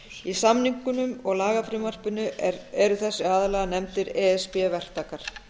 í samningnum og lagafrumvarpinu eru þessir aðilar nefndir e s b verktakar